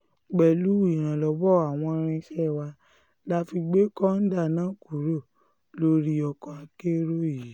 pẹ̀lú ìrànlọ́wọ́ àwọn irinṣẹ́ wa la fi gbé kọ́ńdà náà kúrò lórí ọkọ̀ akérò yìí